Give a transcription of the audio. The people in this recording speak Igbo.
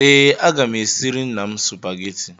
Ee, aga m esiri nna m Supagetii